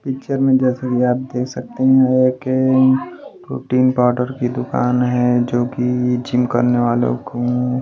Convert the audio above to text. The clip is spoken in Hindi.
पिक्चर में जैसे कि आप देख सकते हैं एक प्रोटीन पाउडर की दुकान है जो कि जिम करने वालों को--